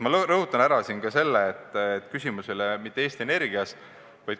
Ma rõhutan kohe ka seda, et küsimus ei ole mitte Eesti Energias.